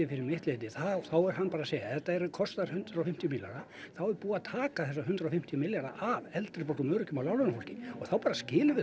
fyrir mitt leyti þá er hann bara að segja að þetta kosti hundrað og fimmtíu milljarða þá er búið að taka þessa hundrað og fimmtíu milljarða af eldri borgurum og öryrkjum og láglaunafólki og þá bara skilum við